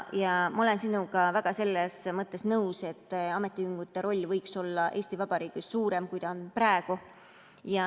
Ma olen sinuga selles mõttes nõus, et ametiühingute roll võiks olla Eesti Vabariigis suurem, kui see on praegu.